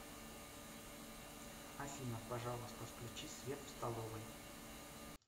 афина пожалуйста включи свет в столовой